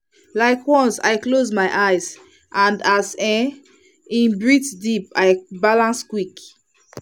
like once i close my eyes and as um in breathe deep i dey balance quick.